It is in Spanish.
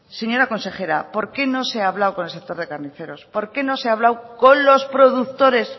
señora consejera por qué no se ha hablado con el sector de carniceros por qué no se ha hablado con los productores